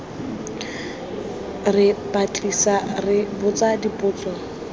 re batlisisa re botsa dipotso